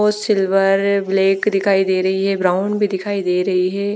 Silver black दिखाई दे रही है ब्राउन भी दिखाई दे रही है ।